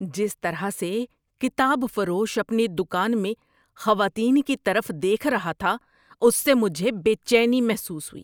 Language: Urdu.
جس طرح سے کتاب فروش اپنی دکان میں خواتین کی طرف دیکھ رہا تھا اس سے مجھے بے چینی محسوس ہوئی۔